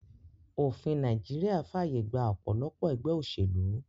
Òfin Naijiria fàyè gba òpòlopò egbé òsèlú